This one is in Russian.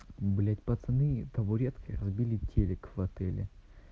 блядь пацаны табуреткой разбили телик в отеле